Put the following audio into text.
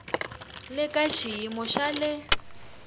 le ka xiyimo xa le